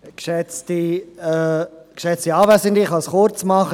Ich kann es kurz machen.